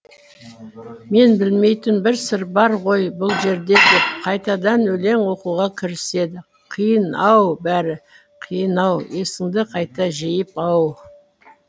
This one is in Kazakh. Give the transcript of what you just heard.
мен білмейтін бір сыр бар ғой бұл жерде деп қайтадан өлең оқуға кіріседі қиын ау бәрі қиын ау есіңді қайта жиып ау